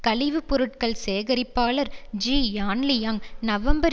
கழிவுப்பொருட்கள் சேகரிப்பாளர் Ji Yanliang November